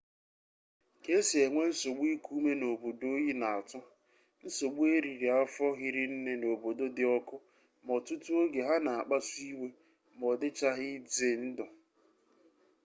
ka esi enwe nsogbu iku ume na obodo oyi na-atu nsogbu eriri afo hirine na obodo di oku ma otutu oge ha na akpasu iwe ma odicahghi ize ndu